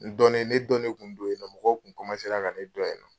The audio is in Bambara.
N dɔnnen ne dɔnnen tun don yen nɔ mɔgɔ tun ka ne dɔn yen nɔ.